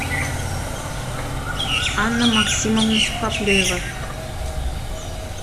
анна максимовна сухоплюева